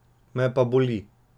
Me pa boli.